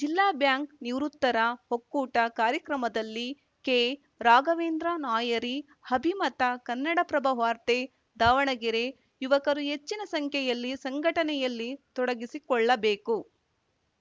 ಜಿಲ್ಲಾ ಬ್ಯಾಂಕ್‌ ನಿವೃತ್ತರ ಒಕ್ಕೂಟ ಕಾರ್ಯಕ್ರಮದಲ್ಲಿ ಕೆರಾಘವೇಂದ್ರ ನಾಯರಿ ಅಭಿಮತ ಕನ್ನಡಪ್ರಭ ವಾರ್ತೆ ದಾವಣಗೆರೆ ಯುವಕರು ಹೆಚ್ಚಿನ ಸಂಖ್ಯೆಯಲ್ಲಿ ಸಂಘಟನೆಯಲ್ಲಿ ತೊಡಗಿಸಿಕೊಳ್ಳಬೇಕು